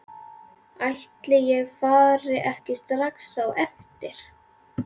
Ætli ég fari ekki strax á eftir.